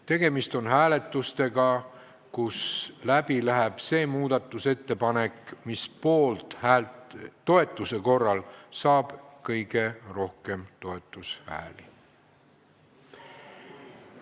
Tegemist on hääletustega, mille järel läheb läbi see muudatusettepanek, mis saab toetuse korral kõige rohkem poolthääli.